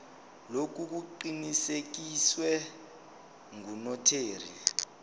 lokhu kuqinisekiswe ngunotary